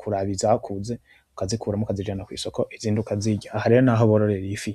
kuraba izakuze ukazikuramwo ukazijana kwisoko, izindi ukazirya. Aha rero ni aho bororera ifi.